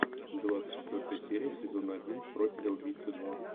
двадцать четвертая серия сезона один профиля убийцы два